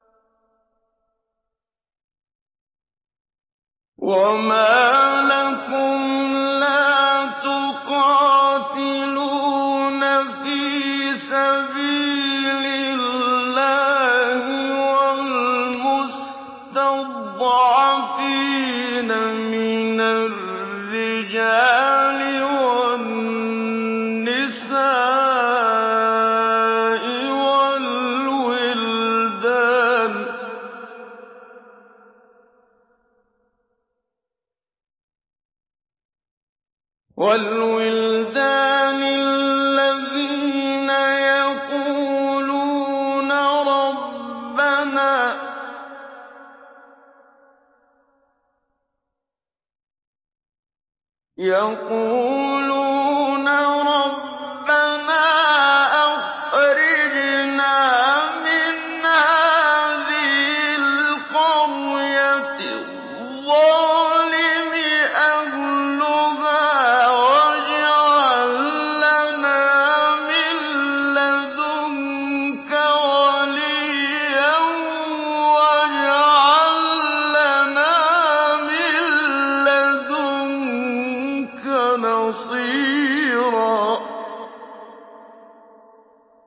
وَمَا لَكُمْ لَا تُقَاتِلُونَ فِي سَبِيلِ اللَّهِ وَالْمُسْتَضْعَفِينَ مِنَ الرِّجَالِ وَالنِّسَاءِ وَالْوِلْدَانِ الَّذِينَ يَقُولُونَ رَبَّنَا أَخْرِجْنَا مِنْ هَٰذِهِ الْقَرْيَةِ الظَّالِمِ أَهْلُهَا وَاجْعَل لَّنَا مِن لَّدُنكَ وَلِيًّا وَاجْعَل لَّنَا مِن لَّدُنكَ نَصِيرًا